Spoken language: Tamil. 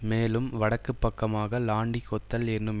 மேலும் வடக்கு பக்கமாக லான்டி கொத்தல் என்னும்